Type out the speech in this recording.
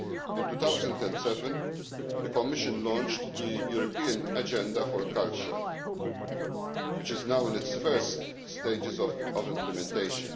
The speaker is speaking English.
In 2007, the Commission launched the European Agenda for Culture, which is now in its first stages of implementation.